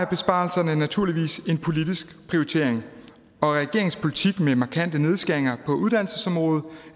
besparelserne naturligvis en politisk prioritering og regeringens politik med markante nedskæringer på uddannelsesområdet